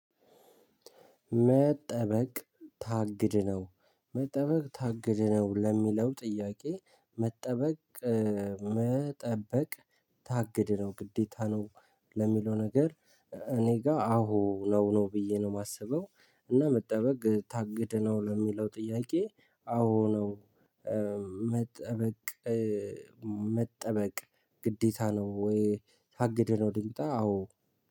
መጠበቅ ታግድ ነው መጠበቅ ታግድ ነው ለሚለው ጥያቄ መጠበቅ መጠበቅ ታግድ ነው ግዴታ ነው። ለሚለው ነገር እኔ ጋር አዎ ነው ነው ብዬ ነው የማስበው እና መጠበቅ ታግድነው ለሚለው ጥያቄ አዎ ነው። መጠበቅ መጠበቅ ግዴታ ነው ወይ? ታግደነው ድምጣ አዎ